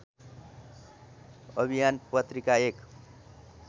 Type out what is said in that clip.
अभियान पत्रिका एक